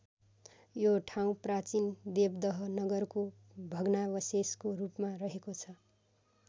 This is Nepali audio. यो ठाउँ प्राचीन देवदह नगरको भग्नावशेषको रूपमा रहेको छ।